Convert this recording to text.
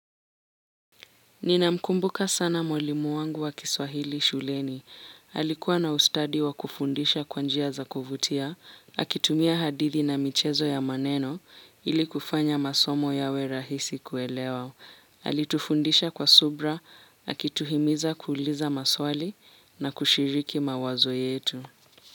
Ninamkumbuka sana mwalimu wangu wa kiswahili shuleni. Alikuwa na ustadi wa kufundisha kwa njia za kuvutia, akitumia hadithi na michezo ya maneno ili kufanya masomo yawe rahisi kuelewa. Alitufundisha kwa subra, akituhimiza kuuliza maswali na kushiriki mawazo yetu.